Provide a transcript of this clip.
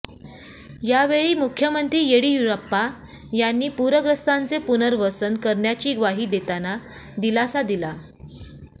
यावेळी मुख्यमंत्री येडियुराप्पा यांनी पूरग्रस्तांचे पुनर्वसन करण्याची ग्वाही देताना दिलासा दिला